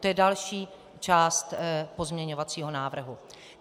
To je další část pozměňovacího návrhu.